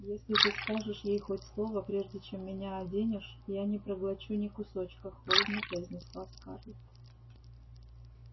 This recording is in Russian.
если ты скажешь ей хоть слово прежде чем меня оденешь я не проглочу ни кусочка холодно произнесла скарлетт